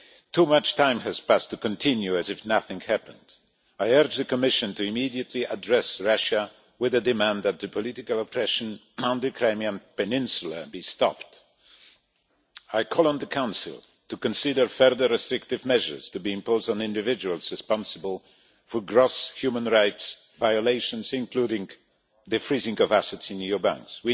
Too much time has passed to continue as if nothing had happened. I urge the Commission to immediately address Russia with a demand that the political oppression on the Crimean peninsula be stopped. I call on the Council to consider further restrictive measures to be imposed on individuals responsible for gross human rights violations, including the freezing of assets in EU banks.